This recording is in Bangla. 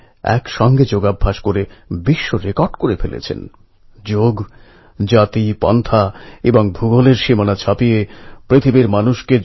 এপ্রিল এবং মে মাস ছুটিতে আনন্দ করার সঙ্গে সঙ্গে রেজাল্ট ভবিষ্যত জীবনের দিক নির্ণয় এবং কেরিয়ার চয়েস করতে ব্যয় হয়